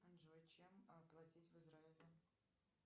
джой чем платить в израиле